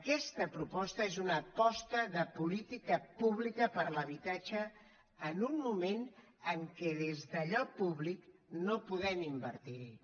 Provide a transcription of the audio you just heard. aquesta proposta és una aposta de política pública per l’habitatge en un moment en què des d’allò públic no podem invertirhi